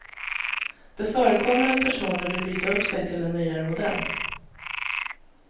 Det förekommer att personer vill byta upp sig till en nyare modell.